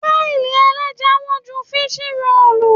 Páì ẹlẹ́ja wọ́n ju fíṣí roòlù.